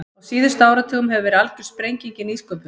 Á síðustu áratugum hefur verið algjör sprenging í nýsköpun.